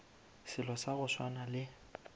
selo sa go swana le